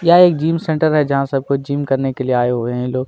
यह एक gym centre है जहाँ सब कोई जिम करने के लिए आए हुए है लोग --